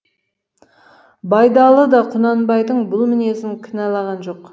байдалы да құнанбайдың бұл мінезін кінәлаған жоқ